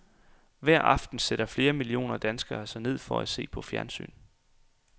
Hver aften sætter flere millioner danskere sig ned for at se på fjernsyn.